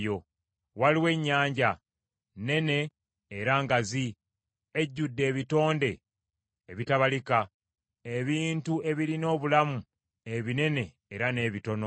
Waliwo ennyanja, nnene era ngazi, ejjudde ebitonde ebitabalika, ebintu ebirina obulamu ebinene era n’ebitono.